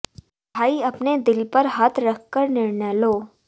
भाई अपने दिल पर हाथ रख कर निर्णय लो